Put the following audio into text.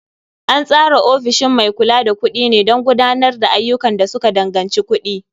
An tsara ofishin mai kula da kuɗi ne don gudanar da ayyukan da suka danganci kuɗi.